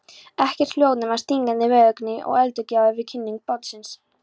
Ekkert hljóð nema stígandi veðurgnýrinn og öldugjálfrið við kinnung bátsins.